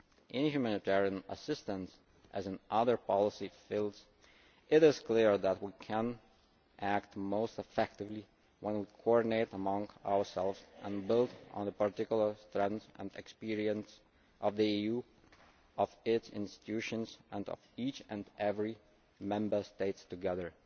In humanitarian assistance, as in other policy fields, it is clear that we can act most effectively when we coordinate among ourselves and build on the particular strength and experience of the EU, of its institutions, and of each and every Member State together.